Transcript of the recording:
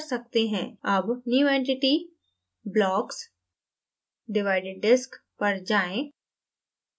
अब new entity>> blocks>> divided disk पर जाएँ